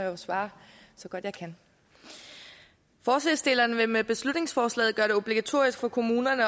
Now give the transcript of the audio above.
jo svare så godt jeg kan forslagsstillerne vil med beslutningsforslaget gøre det obligatorisk for kommunerne